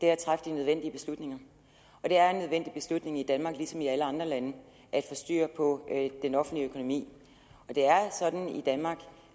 er at træffe de nødvendige beslutninger og det er en nødvendig beslutning i danmark ligesom i alle andre lande at få styr på den offentlige økonomi det er sådan i danmark